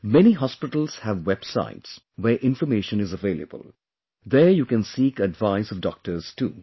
Many hospitals have websites where information is available...there you can seek advice of doctors too